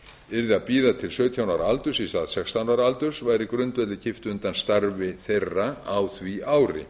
yrði að bíða til sautján ára aldurs í stað sextán ára aldurs væri grundvelli kippt undan starfi þeirra á því ári